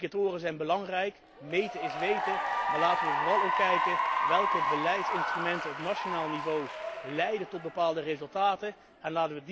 Indicatoren zijn belangrijk, meten is weten, maar laten wij vooral ook kijken welke beleidsinstrumenten op nationaal niveau tot bepaalde resultaten leiden.